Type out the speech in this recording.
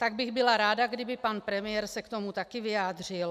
Tak bych byla ráda, kdyby pan premiér se k tomu také vyjádřil.